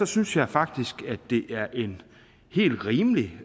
synes jeg faktisk at det er et helt rimeligt